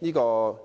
的。